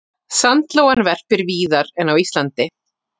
Sandlóan verpir víðar en á Íslandi.